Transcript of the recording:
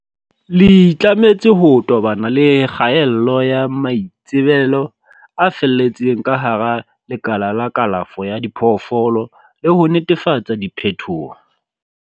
le itlametse ho tobana le kgaello ya maitsebelo a fetelletseng ka hara lekala la kalafo ya diphoofolo le ho netefatsa diphethoho.